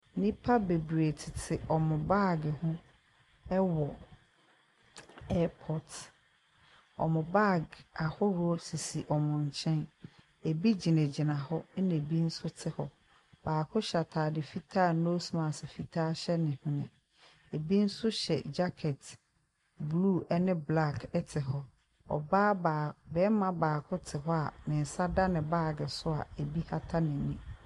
Nipa bebree titi ɔmu baagi ho ɛwɔ ewiemhyen giyinabea ɔmu baagi ahorow sisi ɔmu nkyɛn ebi gyinagyina hɔ ɛna ebi ɛti hɔ baaako hyɛ atade fitaa a nosmask fitaa hyɛ nehwene ebi nso hyɛ jakɛti blu ɛni tuntum ɛti hɔ berma baako ti hɔ a ne nsa da ne baagi so a bribi kata nenim.